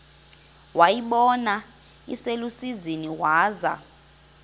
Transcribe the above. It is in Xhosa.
wayibona iselusizini waza